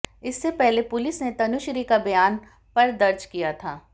इससे पहले पुलिस ने तनुश्री का बयान पर दर्ज किया था